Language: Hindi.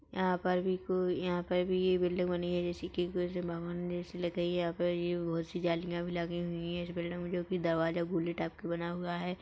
यहाँ पर भी को यहाँ पे भी ये बिल्डिंग बनी है जैसे की कृष्ण भगवान जैसी लग रही है यहाँ पे बहोत सी जालिया भी लगी हुई है इस बिल्डिंग में जोकि दरवाज़ा टाइप के बना हुआ है।